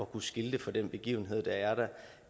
kunne skilte for den begivenhed der er der